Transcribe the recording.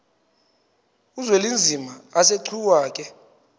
uzwelinzima asegcuwa ke